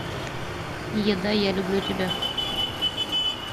еда я люблю тебя